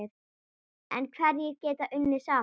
En hverjir geta unnið saman?